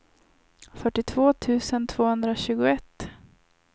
fyrtiotvå tusen tvåhundratjugoett